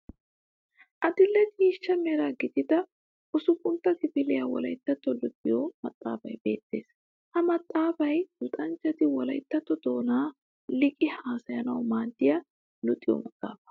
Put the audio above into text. Adil'e ciishsha Mera gidida usuphuntta kifiliya wolayttatto luxiyoo maxxaafay beettes. Ha maxxaafay luxanchchati wolayttatto doonan liiqidi haasayanawu maaddiya luxiyo maxaafa.